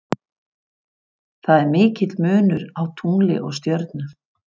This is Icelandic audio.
Það er mikill munur á tungli og stjörnu.